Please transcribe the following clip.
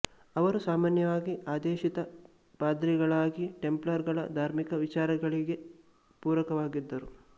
ಅವರು ಸಾಮಾನ್ಯವಾಗಿ ಆದೇಶಿತ ಪಾದ್ರಿಗಳಾಗಿ ಟೆಂಪ್ಲರ್ ಗಳ ಧಾರ್ಮಿಕ ವಿಚಾರಗಳಿಗೆ ಪೂರಕವಾಗಿದ್ದರು